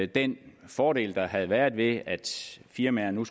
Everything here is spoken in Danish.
den fordel der havde været ved at firmaer nu